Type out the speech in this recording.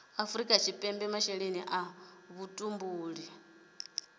afrika tshipembe masheleni a vhutumbuli